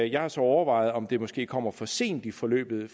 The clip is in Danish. jeg har så overvejet om det måske kommer for sent i forløbet